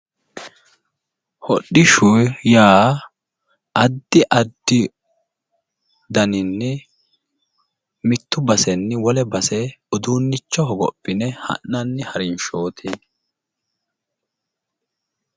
Hodhishshu yaa addi addi daninni mitte basenni wole base uduunnicho hogophine ha'nanni harinshooti.